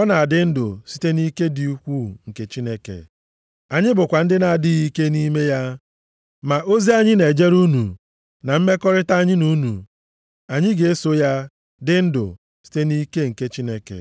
ọ na-adị ndụ site nʼike dị ukwuu nke Chineke. Anyị bụkwa ndị na-adịghị ike nʼime ya, ma ozi anyị na-ejere unu na mmekọrịta anyị na unu, anyị ga-eso ya dị ndụ site nʼike nke Chineke.